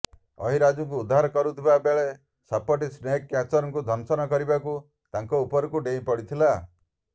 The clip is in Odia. ଅହିରାଜକୁ ଉଦ୍ଧାର କରୁଥିବା ବେଳେ ସାପଟି ସ୍ନେକ୍ କ୍ୟାଚରଙ୍କୁ ଦଂଶନ କରିବାକୁ ତାଙ୍କ ଉପରକୁ ଡେଇଁପଡ଼ିଥିଲା